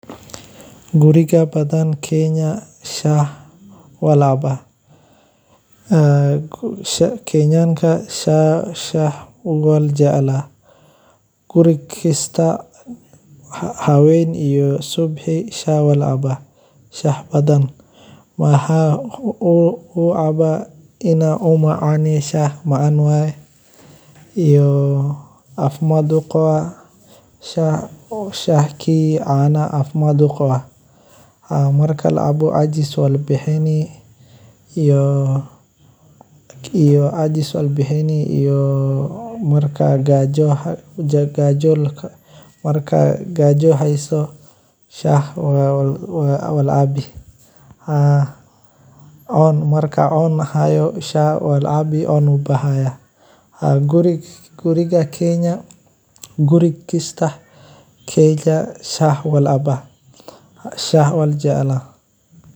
Guriyaha badan ee Kenya, shaaha waa cabitaan muhiim ah oo ka mid ah nolosha maalinlaha ah ee qoysaska. Shaaha waxaa lagu cabbaa waqtiyo kala duwan sida subaxdii hore, galabtii ama xilliyada nasashada, wuxuuna astaan u yahay soo dhoweyn, diirranayn iyo wada hadal. Dadka badankood waxay shaaha u sameeyaan si gaar ah, iyagoo ku daraya caano, sonkor, mararka qaarna xawaashyo sida tangawizi sininbir. Shaaha waxaa sidoo kale lagu cabbaa inta badan cunnooyinka fudud